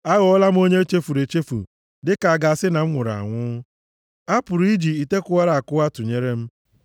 Aghọọla m onye e chefuru echefu, dị ka a ga-asị na m nwụrụ anwụ. A pụrụ iji ite kụwara akwụwa tụnyere m.